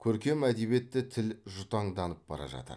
көркем әдебиетте тіл жұтаңданып бара жатыр